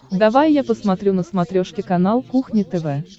давай я посмотрю на смотрешке канал кухня тв